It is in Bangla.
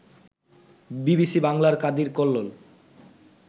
বিবিসি বাংলার কাদির কল্লোল